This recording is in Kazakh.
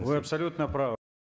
вы абсолютно